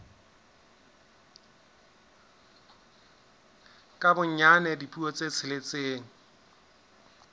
ka bonyane dipuo tse tsheletseng